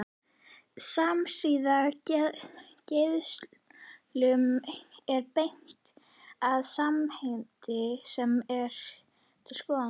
Samsíða geislum er beint að sameind sem er til skoðunar.